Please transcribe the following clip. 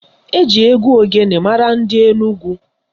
Eji egwu ogene mara ndị Enugwu.